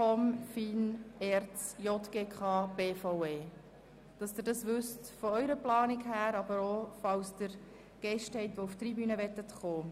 Dies zu Ihrer Information und für Ihre Planung, aber auch, falls Sie Gäste haben, die der Debatte auf der Tribüne folgen möchten.